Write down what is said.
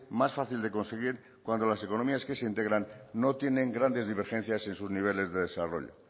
más fácil de conseguir cuando las economías que se integran no tienen grandes divergencias en sus niveles de desarrollo